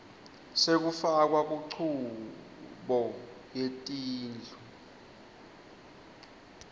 sekufakwa kunchubo yetindlu